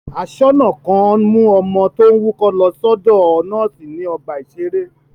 Aṣọ́nà kan mú ọmọ tó ń wúkọ́ lọ sọ́dọ̀ nọ́ọ́sì ní ọgbà-ìṣeré.